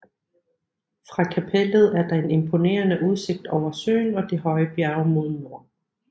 Fra kapellet er der en imponerende udsigt over søen og de høje bjerge mod nord